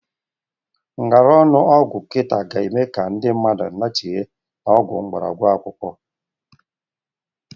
Ngara ọnụ ọgwụ kita ga-eme ka ndị mmadụ lachịbe n'ọgwụ mgbarọgwụ na mkpaakwụkwọ.